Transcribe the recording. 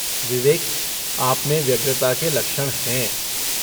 विवेक, आप में व्यग्रता के लक्षण हैं।